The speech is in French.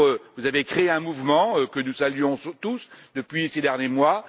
Vous avez créé un mouvement que nous saluons tous depuis ces derniers mois.